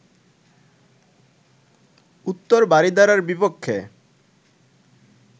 উত্তর বারিধারার বিপক্ষে